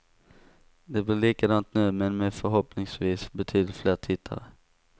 Det blir likadant nu, men med förhoppningsvis betydligt fler tittare.